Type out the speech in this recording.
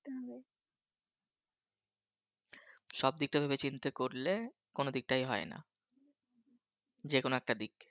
সব দিকটা ভেবেচিন্তে করলে কোন দিকটাই হয় না। যেকোনো একটা দিক